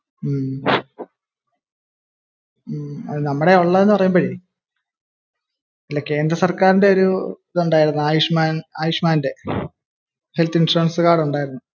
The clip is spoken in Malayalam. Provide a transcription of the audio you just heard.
നമ്മുടെ കൈയിൽ ഉള്ളതേ എന്ന് പറയുമ്പോഴേ ഈ കേന്ദ്ര സർക്കാരിന്റെ ഒരു ഇത് ഉണ്ടായിരുന്ന ആയുഷ്മാൻറെ, ഹെൽ ത്ത് ഇൻഷുറൻസ് കാർഡ് ഉണ്ടായിരുന്നു.